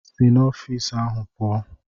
Si n'ọfịs ahụ pụọ!